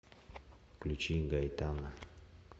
включи гайтана